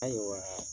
Ayiwa